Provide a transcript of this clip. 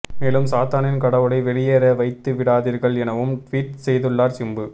மேலும் சாத்தானின் கடவுளை வெளியேற வைத்துவிடாதீர்கள் எனவும் டுவீட் செய்துள்ளார் சிம்பு